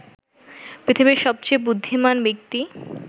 পৃথিবীর সবচেয়ে বুদ্ধিমান ব্যক্তি